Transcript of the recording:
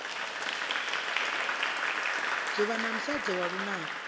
dzuvha na musadzi wa lunako